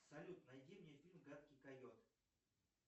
салют найди мне фильм гадкий койот